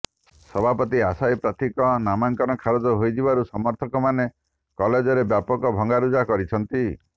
ସଭାପତି ଆଶାୟୀ ପ୍ରାର୍ଥୀଙ୍କ ନାମାଙ୍କନ ଖାରଜ ହୋଇଯିବାରୁ ସମର୍ଥକମାନେ କଲେଜରେ ବ୍ୟାପକ ଭଙ୍ଗାରୁଜା କରିଛନ୍ତି